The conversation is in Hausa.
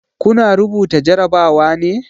Kuna rubuta jarabawa ne?